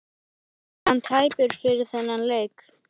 Var hann tæpur fyrir þennan leik?